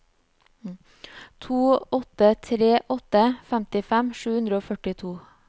to åtte tre åtte femtifem sju hundre og førtito